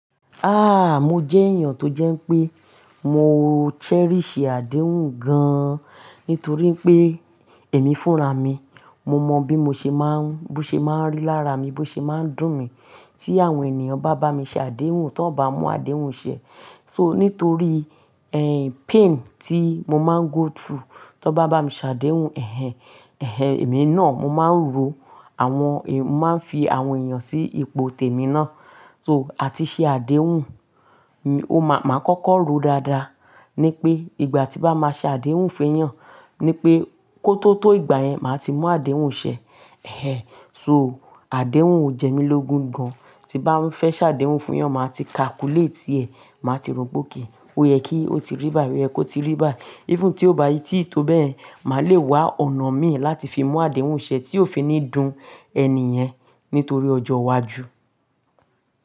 Ah! Mo jẹ́ èèyàn tó jẹ́ pé mo cherish àdéhùn gan-an nítorí pé èmi fúnra mi. Mo mọ bí mo ṣe máa ń, bó ṣe máa ń lára mi, bó ṣe máa ń dùn mi tí àwọn ènìyàn bá bá mi ṣe àdéhùn, tó bá mú àdéhùn ṣẹ. So nítorí, ehn, pain tí mo máa ń go through tó bá bá mi ṣe àdéhùn, ẹhẹ ẹhẹ, èmi náà mo máa ń ro, àwọn èm-- mo máa ń fi àwọn èèyàn sí ipò tèmi náà. So àti ṣe àdéhùn, mi-- mo máa kọ́kọ́ rò dáadáa ní pé ìgbà tí bá máa ṣe àdéhùn feyàn, ní pé kó tó tó ìgbà yẹn, màá ti mú àdéhùn ṣẹ. Ehẹ, so àdéhùn ò jẹ́ mi lógún gan-an. Tí bá ń fẹ́ ṣe àdéhùn fún yàn, màá ti calculate é, màá ti rò pe okay. Ó yẹ kí ó ti rí bái, ó yẹ kó ti rí bái. Even tí ó bá í tíì tó bẹ́yẹ̀n, mà lè wá ọ̀nà mi láti fi mú àdéhùn ṣẹ tí ó fi ní dùn ẹni yẹn nítorí ọjọ́ iwájú.